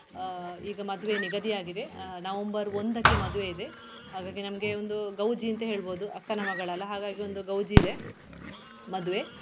ಆಹ್ ಈಗ ಮದುವೆ ನಿಗದಿಯಾಗಿದೆ ಆಹ್ November ಒಂದಕ್ಕೆ ಮದುವೆ ಇದೆ ಹಾಗಾಗಿ ನಮ್ಗೆ ಒಂದು ಗೌಜಿಂತ ಹೇಳ್ಬೋದು ಅಕ್ಕನ ಮಗಳಲ್ಲ ಹಾಗಾಗಿ ಒಂದು ಗೌಜಿ ಇದೆ ಮದುವೆ.